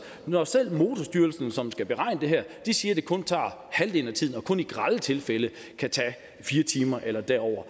når selv motorstyrelsen som skal beregne det her siger at det kun tager halvdelen af tiden og kun i grelle tilfælde kan tage fire timer eller derover